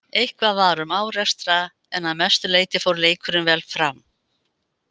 Eitthvað var um árekstra en að mestu leiti fór leikurinn vel fram.